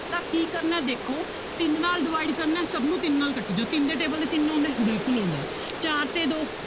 ਤਾਂ ਕੀ ਕਰਨਾ ਹੈ ਦੇਖੋ ਤਿੰਨ ਨਾਲ divide ਕਰਨਾ ਹੈ ਸਭ ਨੂੰ ਤਿੰਨ ਨਾਲ ਕੱਟੀ ਜਾਓ ਤਿੰਨ ਦੇ table ਤੇ ਤਿੰਨ ਆਉਂਦਾ ਹੈ ਬਿਲਕੁਲ ਆਉਂਦਾ ਹੈ ਚਾਰ ਤੇ ਦੋ